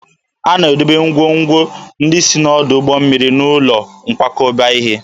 A na-edobe ngwongwo ndị si n'ọdụ ụgbọ mmiri n'ụlọ nkwakọba ihe